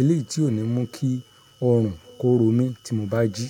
Eléyìí tí ò ní mú kí ọrùn kó ro mí tí mo bá jí.